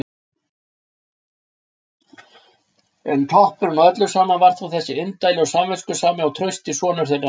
En toppurinn á öllu saman var þó þessi indæli og samviskusami og trausti sonur þeirra!